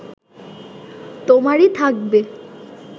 তোমারই থাকবে